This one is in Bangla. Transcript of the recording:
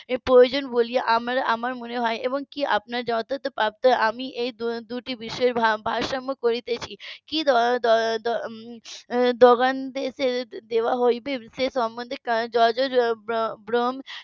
প্রয়োজন বলে আমার মনে হয় এবং কি . আমি এই দুটি বিষয় ভারসাম্য করছি কি . দেওয়া হবে সে সম্বন্ধে .